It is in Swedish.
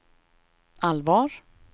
allvar